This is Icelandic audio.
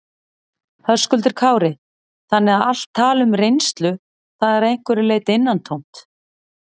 Höskuldur Kári: Þannig að allt tal um reynslu, það er að einhverju leyti innantómt?